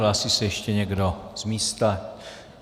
Hlásí se ještě někdo z místa?